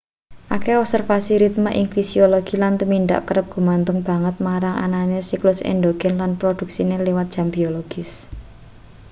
akeh observasi ritme ing fisiologi lan tumindak kerep gumantung banget marang anane siklus endogen lan produksine liwat jam biologis